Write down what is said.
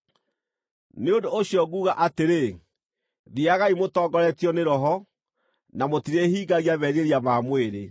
Nĩ ũndũ ũcio nguuga atĩrĩ, thiiagai mũtongoretio nĩ Roho, na mũtirĩhingagia merirĩria ma mwĩrĩ.